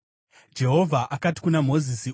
Jehovha akati kuna Mozisi,